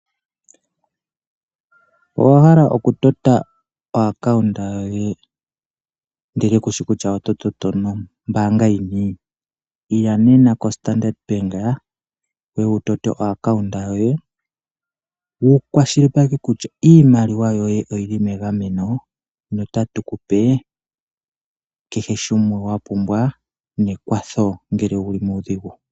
Owahala oku tota okambo komapungulilo goye ndele kushi kutya oto toto mombaanga yinipo? Ila nena kombaanga yopamuthika wuye wutote okambo komapungulilo goye. Wukwashilipaleke kutya iimaliwa yoye oyili megameno notatu kupe keshe shimwe wapumbwa nekwatho ngele owuli muudhigu.